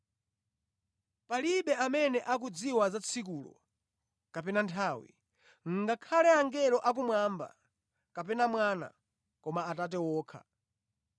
“Palibe amene akudziwa za tsikulo kapena nthawi, ngakhale angelo akumwamba, kapena Mwana, koma Atate wokha.